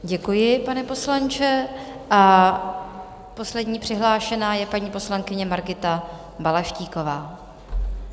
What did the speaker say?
Děkuji, pane poslanče, a poslední přihlášená je paní poslankyně Margita Balaštíková.